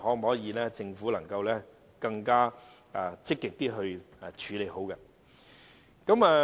我希望政府能夠更積極地處理好相關事宜。